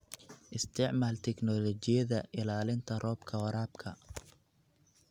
Isticmaal tignoolajiyada ilaalinta roobka waraabka.